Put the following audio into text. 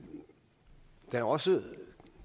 der er også